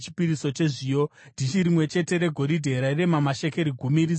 dhishi rimwe chete regoridhe rairema mashekeri gumi, rizere nezvinonhuhwira;